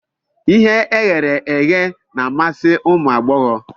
Ihe e ghere eghe na-amasi ụmụ agbọghọ